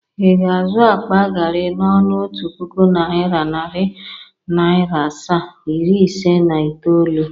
Ị ga-azụ akpa gari n'ọnụ otu puku naira, nari naira asaa, iri ise na itoolu,?